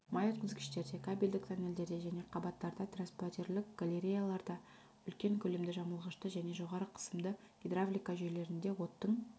май өткізгіштерде кабельдік тоннелдерде және қабаттарда траспортерлік галереяларда үлкен көлемді жамылғышта және жоғары қысымды гидравлика жүйелерінде оттың